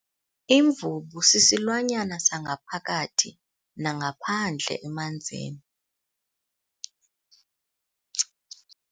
Imvubu sisilwanyana sangaphakathi nangaphandle emanzini.